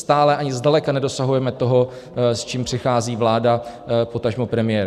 Stále ani zdaleka nedosahujeme toho, s čím přichází vláda, potažmo premiér.